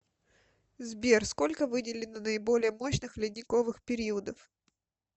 сбер сколько выделено наиболее мощных ледниковых периодов